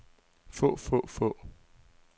få få få